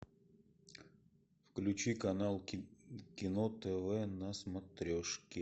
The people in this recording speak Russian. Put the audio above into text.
включи канал кино тв на смотрешке